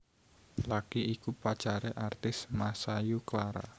Lucky iku pacaré artis Masayu Clara